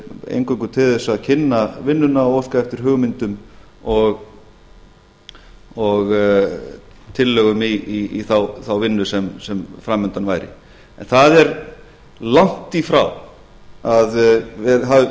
eingöngu til þess að kynna vinnuna og óska eftir hugmyndum og tillögum í þá vinnu sem fram undan væri það er langt í frá að